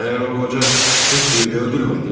Məyər o qoca Hetfilddə öldürmədi?